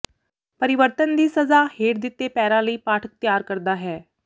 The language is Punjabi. ਪਰਿਵਰਤਨ ਦੀ ਸਜ਼ਾ ਹੇਠ ਦਿੱਤੇ ਪੈਰਾ ਲਈ ਪਾਠਕ ਤਿਆਰ ਕਰਦਾ ਹੈ